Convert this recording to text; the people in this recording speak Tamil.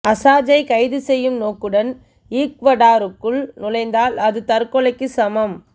அசாஞ்சை கைது செய்யும் நோக்குடன் ஈக்வடாருக்குள் நுழைந்தால் அது தற்கொலைக்கு சமம்